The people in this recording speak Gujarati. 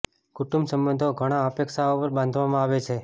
કુટુંબ સંબંધો ઘણા અપેક્ષાઓ પર બાંધવામાં આવે છે